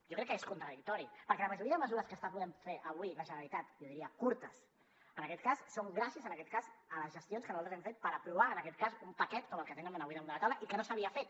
jo crec que és contradictori perquè la majoria de mesures que està podent fer avui la generalitat jo diria curtes en aquest cas són gràcies a les gestions que nosaltres hem fet per aprovar un paquet com el que tenen avui damunt de la taula i que no s’havia fet